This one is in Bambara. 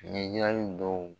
Ɲɛjirali dɔw